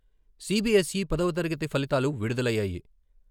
CBSE పదవ తరగతి ఫలితాలు విడుదలయ్యాయి.